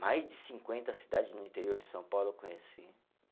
Mais de cinquenta cidade no interior de São Paulo eu conheci.